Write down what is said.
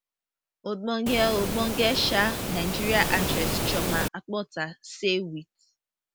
ogbonge ogbonge um nigerian actress chioma akpotha say wit